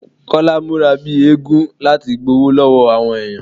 Kọ́lá múra bíi eégún láti gbowó lọ́wọ́ àwọn èèyàn